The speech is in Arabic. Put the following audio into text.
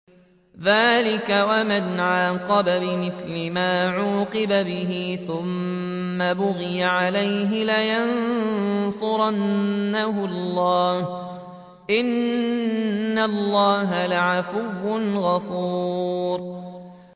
۞ ذَٰلِكَ وَمَنْ عَاقَبَ بِمِثْلِ مَا عُوقِبَ بِهِ ثُمَّ بُغِيَ عَلَيْهِ لَيَنصُرَنَّهُ اللَّهُ ۗ إِنَّ اللَّهَ لَعَفُوٌّ غَفُورٌ